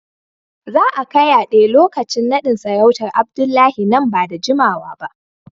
Za a kayyade lokacin nadin sarautar Abdullahi nan ba da jimawa ba